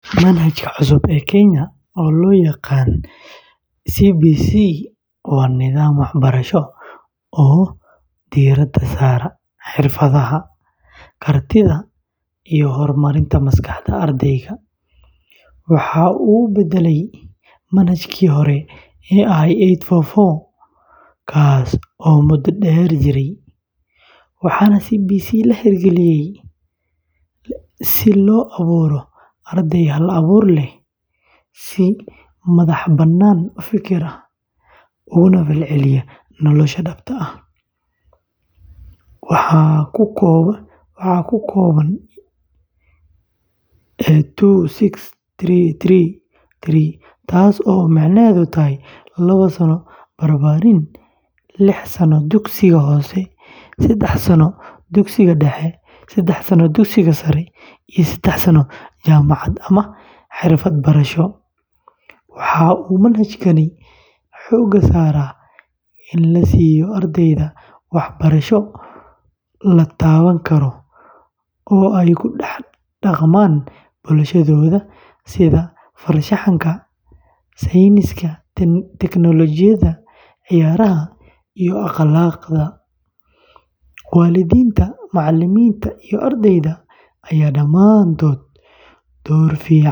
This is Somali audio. Manhajka cusub ee Kenya ee loo yaqaan CBC waa nidaam waxbarasho oo diiradda saara xirfadaha, kartida, iyo horumarinta maskaxda ardayga. Waxa uu beddelay manhajkii hore ee eight-four-four, kaas oo muddo dheer jiray, waxaana CBC la hirgeliyey si loo abuuro arday hal-abuur leh, si madax-bannaan u fekera, ugana falceliya nolosha dhabta ah. CBC waxa uu ka kooban yahay two-six-three-three-three, taas oo micnaheedu yahay: lawa sano barbaarin, liix sano dugsiga hoose, sedax sano dugsiga dhexe, sedax sano dugsiga sare, iyo sedax sano jaamacad ama xirfad barasho. Waxa uu manhajkani xoogga saaraa in la siiyo ardayda waxbarasho la taaban karo oo ay ku dhex dhaqmaan bulshadooda sida farshaxanka, sayniska, teknolojiyada, ciyaaraha, iyo akhlaaqda. Waalidiinta, macallimiinta, iyo ardayda ayaa dhammaantood door.